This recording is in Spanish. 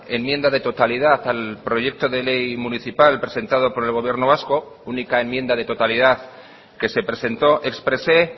enmienda de totalidad al proyecto de ley municipal presentado por el gobierno vasco única enmienda de totalidad que se presentó expresé